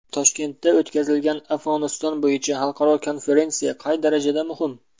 Toshkentda o‘tkazilgan Afg‘oniston bo‘yicha xalqaro konferensiya qay darajada muhim?